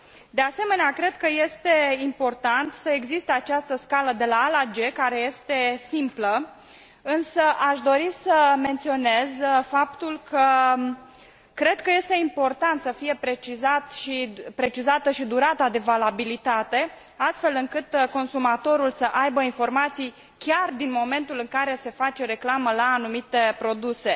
De asemenea, cred că este important să existe această scală de A la G, care este simplă, însă aș dori să menționez faptul că cred că este important să fie precizată și durata de valabilitate, astfel încât consumatorul să aibă informații chiar din momentul în care se face reclamă la anumite produse.